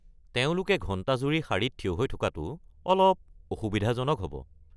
তেওঁলোকে ঘণ্টাজুৰি শাৰীত থিয় হৈ থকাটো অলপ অসুবিধাজনক হ’ব।